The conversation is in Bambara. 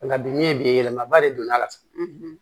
Nka bi min ye bi yɛlɛmaba de don n'a la sisan